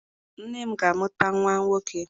Nne m ga-amụta nwa nwoke.